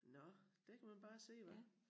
Nåh der kan man bare se hva